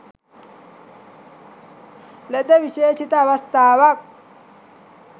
ලද විශේෂිත අවස්ථාවක්.